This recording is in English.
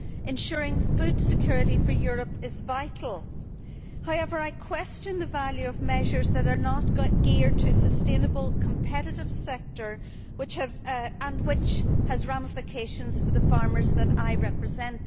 Ensuring food security for Europe is vital. However, I question the value of measures that are not geared to the sustainable, competitive sector and which have ramifications for the farmers that I represent.